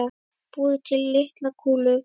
Búið til litlar kúlur.